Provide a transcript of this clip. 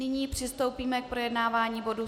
Nyní přistoupíme k projednávání bodu